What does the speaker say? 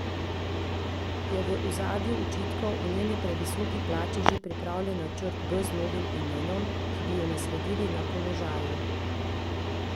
Je v ozadju očitkov o njeni previsoki plači že pripravljen načrt B z novim imenom, ki bi jo nasledil na položaju?